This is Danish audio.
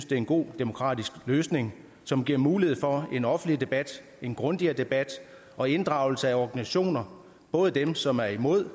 det er en god demokratisk løsning som giver mulighed for en offentlig debat en grundigere debat og inddragelse af organisationer både dem som er imod